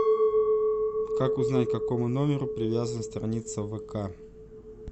как узнать к какому номеру привязана страница в вк